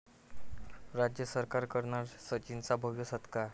राज्य सरकार करणार सचिनचा भव्य सत्कार